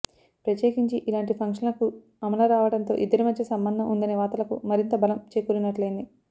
ప్రత్యేకించి ఇలాంటి ఫంక్షన్ కు అమల రావడంతో ఇద్దరి మధ్య సంబంధం ఉందనే వార్తలకు మరింత బలం చేకూరినట్లయింది